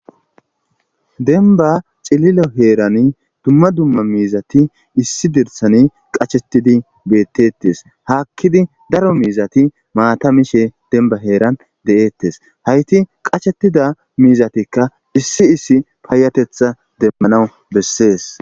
denba cililo heeran dumma dumma miizati issi dirsani qachettidi bettettes haakkidi daro miizati maatamishe denba heeran de7eettes hayti qachetida miizatikka issi issi paayatetha demmanawu bessees